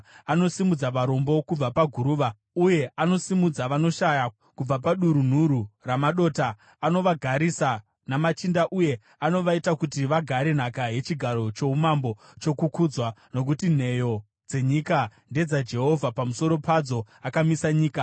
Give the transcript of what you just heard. Anosimudza varombo kubva paguruva uye anosimudza vanoshaya kubva padurunhuru ramadota; anovagarisa namachinda uye anovaita kuti vagare nhaka yechigaro choumambo chokukudzwa. “Nokuti nheyo dzenyika ndedzaJehovha, pamusoro padzo akamisa nyika.